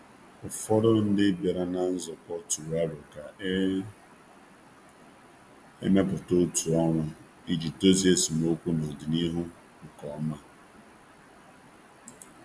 Ụfọdụ n'ime ndị sonyere nzukọ nwa tụrụ aro ka e mepụta otu ọrụ ga n'ahụ maka idozi esemokwu g'amalite n'ọdịnihu n'ụzọ dị mfe